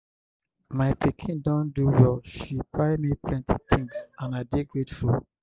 my pikin don do well she buy me plenty things and i dey grateful.